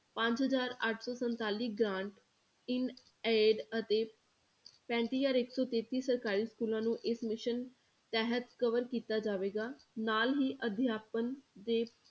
ਪੰਜ ਹਜ਼ਾਰ ਅੱਠ ਸੌ ਸੰਤਾਲੀ grant in aid ਅਤੇ ਪੈਂਤੀ ਹਜ਼ਾਰ ਇੱਕ ਸੌ ਤੇਤੀ ਸਰਕਾਰੀ schools ਨੂੰ ਇਸ mission ਤਹਿਤ cover ਕੀਤਾ ਜਾਵੇਗਾ ਨਾਲ ਹੀ ਅਧਿਆਪਨ ਦੇ